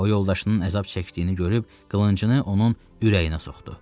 O yoldaşının əzab çəkdiyini görüb qılıncını onun ürəyinə soxdu.